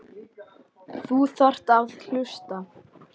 Þú þarft að hlusta.